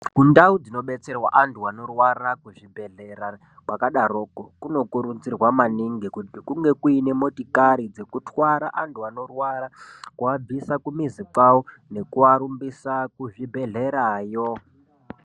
Kundau dzinodetserwa antu anorwara kuzvibhedhlera kwakadaroko kunokurudzirwa maningi kuti kunge kuine motokari dzekutwara antu anorwara kuabvise kumizi kwavo nekuarumbise kuzvibhedhleraya.